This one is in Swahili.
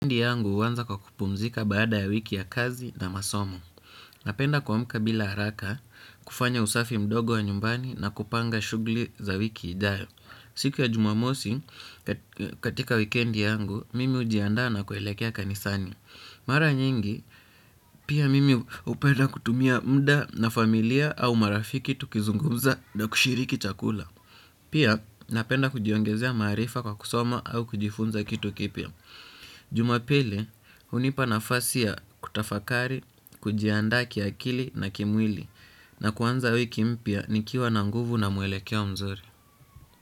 Wikendi yangu huanza kwa kupumzika baada ya wiki ya kazi na masomo. Napenda kuamka bila haraka, kufanya usafi mdogo wa nyumbani na kupanga shughuli za wiki ijayo. Siku ya jumamosi, katika wikendi yangu, mimi hujiandaa na kuelekea kanisani. Mara nyingi, pia mimi hupenda kutumia muda na familia au marafiki tukizungumza na kushiriki chakula. Pia, napenda kujiongezea maarifa kwa kusoma au kujifunza kitu kipya. Jumapili, hunipa nafasi ya kutafakari, kujiandaa kiakili na kimwili. Na kuanza wiki mpya, nikiwa na nguvu na mwelekeo mzuri.